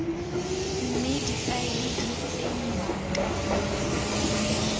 mme difaele di tsenngwa ka